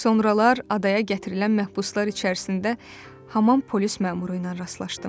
Sonralar adaya gətirilən məhbuslar içərisində həmin polis məmuru ilə rastlaşdım.